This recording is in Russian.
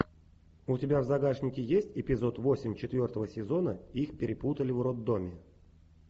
у тебя в загашнике есть эпизод восемь четвертого сезона их перепутали в роддоме